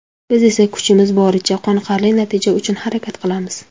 Biz esa kuchimiz boricha, qoniqarli natija uchun harakat qilamiz.